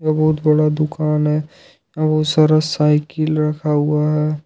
बहुत बड़ा दुकान है बहुत सारा साइकिल रखा हुआ है।